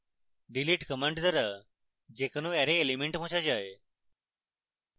delete command দ্বারা যে কোনো অ্যারে element মোছা যায়